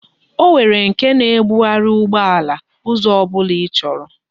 O nwere nke na ebughari ugbo ala, Uzo obula ichoro